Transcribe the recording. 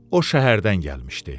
O şəhərdən gəlmişdi.